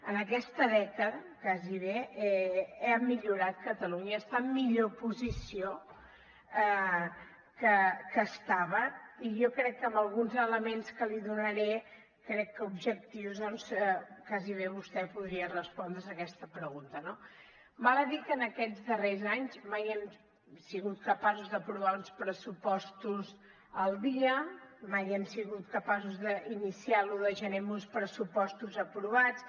en aquesta dècada gairebé ha millorat catalunya està en millor posició que estava i jo crec que amb alguns elements que li donaré crec que objectius gairebé vostè podria respondre’s aquesta pregunta no val a dir que en aquests darrers anys mai hem sigut capaços d’aprovar uns pressu postos al dia mai hem sigut capaços d’iniciar l’un de gener amb uns pressupostos aprovats